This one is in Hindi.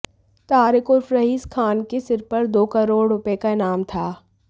तारिक उर्फ रईस खान के सिर पर दो करोड़ रुपये का इनाम था